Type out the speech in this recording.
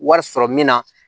Wari sɔrɔ min na